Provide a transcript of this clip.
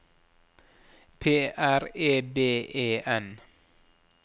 P R E B E N